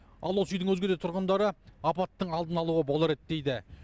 ал осы үйдің өзге де тұрғындары апаттың алдын алуға болар еді дейді